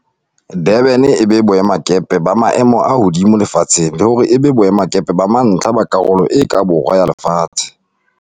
Durban e be boemakepe ba maemo a hodimo lefatsheng le hore e be boemakepe ba mantlha ba Karolo e ka Borwa ya Lefatshe.